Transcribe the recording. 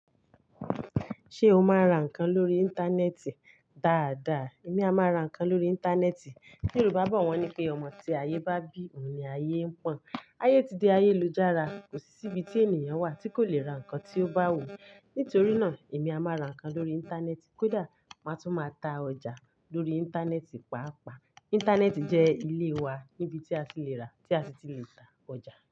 Ṣé o máa ra nǹkan lórí Íńtánẹ́ẹ̀tì? Daada, èmi a máa ra nǹkan lórí Íńtánẹ́ẹ̀tì. Yorùbá bọ̀ wọ́n ní pé ọmọ tí ayé bá bí òun ni ayé ń pọ̀n. Ayé ti di ayélujára, kò sí ibi tí ènìyàn wà tí kò le ra nǹkan tí ó bá wù. Nítorí náà, èmi a máa ra nǹkan lórí Íńtánẹ́ẹ̀tì, kódà màá tún máa ta ọjà lórí Íńtánẹ́ẹ̀tì pàápàá. Íńtánẹ́ẹ̀tì jẹ́ ilé wa, níbi tí a ti le ra tí a ti le ta ọjà.